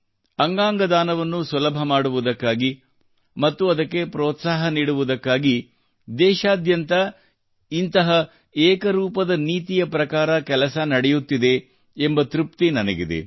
ಅಂಗಾಗದಾನವನ್ನು ಸುಲಭ ಮಾಡುವುದಕ್ಕಾಗಿ ಮತ್ತು ಅದಕ್ಕೆ ಪ್ರೋತ್ಸಾಹ ನೀಡುವುದಕ್ಕಾಗಿ ದೇಶಾದ್ಯಂತ ಇಂತಹ ಏಕರೂಪದನೀತಿಯ ಪ್ರಕಾರ ಕೆಲಸ ನಡೆಯುತ್ತಿದೆ ಎಂಬ ತೃಪ್ತಿ ನನಗಿದೆ